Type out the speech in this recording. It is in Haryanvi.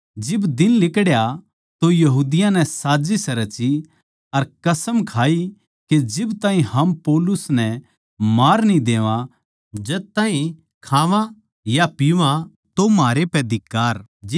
जिब दिन लिकड़या तो यहूदियाँ नै साजिस रची अर कसम खाई के जिब ताहीं हम पौलुस नै मार न्ही देवा जद ताहीं खावां या पिवां म्हारै पै धिक्कार